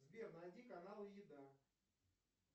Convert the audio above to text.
сбер найди каналы еда